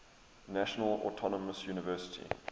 national autonomous university